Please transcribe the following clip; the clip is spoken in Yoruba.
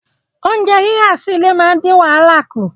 Oúnjẹ rírà sí ilé máa ń dín wàhálà kù